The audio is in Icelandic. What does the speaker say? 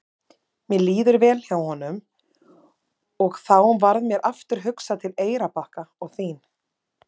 Mér líður vel hjá honum og þá varð mér aftur hugsað til Eyrarbakka og þín.